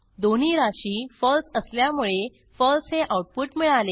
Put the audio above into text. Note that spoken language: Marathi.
दोन्ही राशी फळसे असल्यामुळे फळसे हे आऊटपुट मिळाले